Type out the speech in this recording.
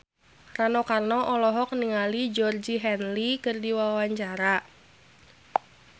Rano Karno olohok ningali Georgie Henley keur diwawancara